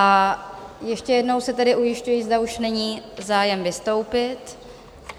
A ještě jednou se tedy ujišťuji, zda už není zájem vystoupit?